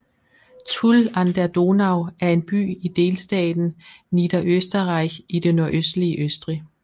Tulln an der Donau er en by i delstaten Niederösterreich i det nordøstlige Østrig